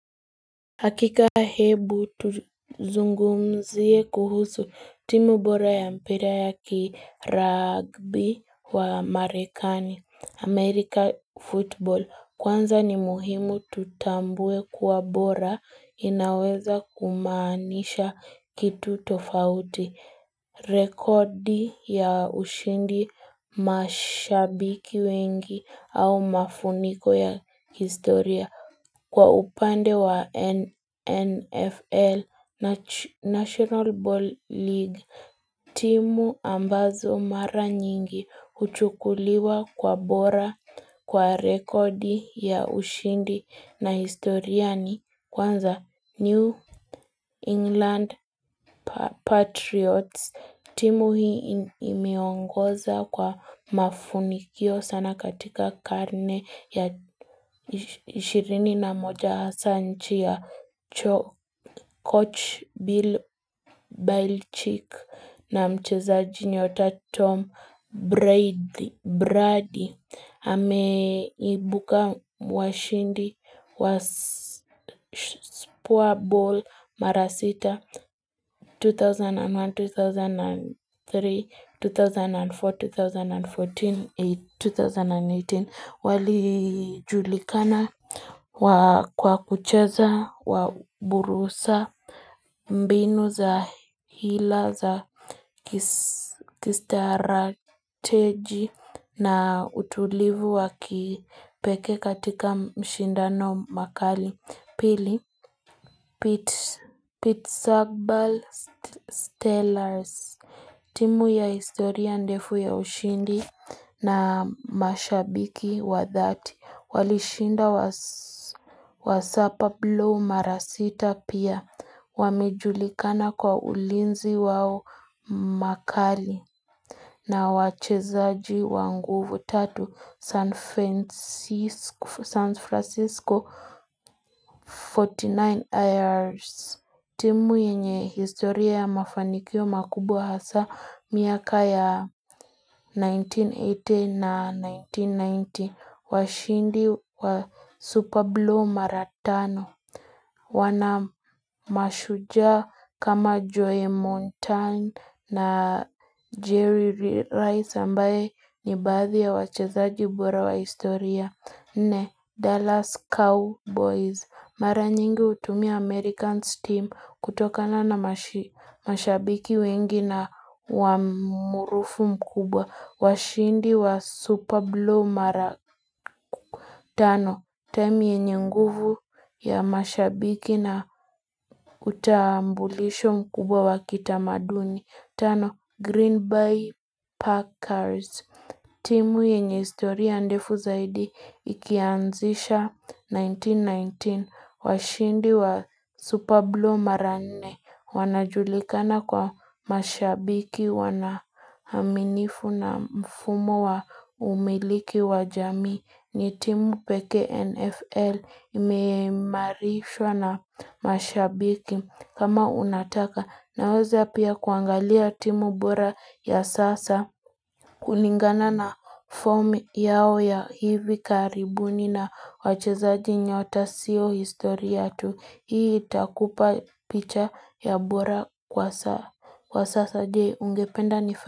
Hakika hebu tuzungumzie kuhusu timu bora ya mpira ya ki ragbi wa marekani America football kwanza ni muhimu tutambue kwa bora inaweza kumaanisha kitu tofauti rekodi ya ushindi mashabiki wengi au mafuniko ya historia Kwa upande wa NFL National Ball League, timu ambazo mara nyingi huchukuliwa kwa bora kwa rekodi ya ushindi na historia ni kwanza New England Patriots. Timu hii imeongoza kwa mafunikio sana katika karne ya 20 na moja hasa nchi ya coach Bill Belchick na mchezaji nyota Tom Brady. Bradi ameibuka washindi wa spuwa ball mara sita 2001-2003 2004-2014 2008-2018 wali julikana kwa kucheza waburusa mbinu za hila za kistrateji na utulivu wakipekee katika mashindano makali Pili, Pete Sagbal Stellars timu ya historia ndefu ya ushindi na mashabiki wa dhati Walishinda wa sapa blu mara sita pia Wamejulikana kwa ulinzi wao mkali na wachezaji wa nguvu tatu San Francisco 49 years. Timu yenye historia ya mafanikio makubwa hasa miaka ya 1980 na 1990. Washindi wa Super Bowl Mara tano. Wanamashujaa kama Joy Mountain na Jerry Rice ambaye ni baadhi ya wachezaji bora wa historia nne Dallas Cowboys. Mara nyingi hutumia Americans team kutokana na mashabiki wengi na wa umaarufu mkubwa. Washindi wa Superblow Mara tano Temi yenye nguvu ya mashabiki na utambulisho mkubwa wa kitamaduni Tano Green Bay Packers timu yenye historia ndefu zaidi ikianzisha 1919 Washindi wa Superblow Mara nne Wanajulikana kwa mashabiki wanaminifu na mfumo wa umiliki wa jamii ni timu pekee NFL imeimarishwa na mashabiki kama unataka naweza pia kuangalia timu bora ya sasa. Kulingana na form yao ya hivi karibuni na wachezaji nyota sio historia tu hii itakupa picha ya bora kwa sasa je ungependa nifa.